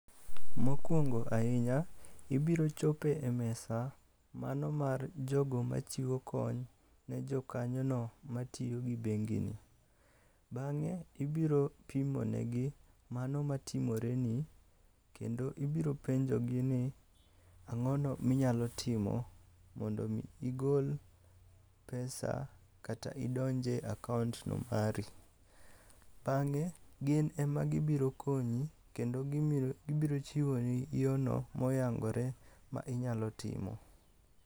Mokuongo ahinya, ibiro chopo e mesa. Mano mar jogo machiwo kony ne jo kanyono matiyo gi bengi no. Bang'e, ibiro pimo ne gi mano matimore ni, kendo ibiro penjo gi ni ang'ono minyalo timo mondo mi igol pesa kata idonje akaont no mari. Bang'e, gin ema gibiro konyi kendo gibiro chiwo ni yo no moyangore ma inyalo timo.